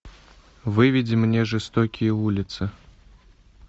выведи мне жестокие улицы